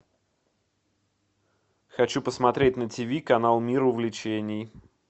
хочу посмотреть на тиви канал мир увлечений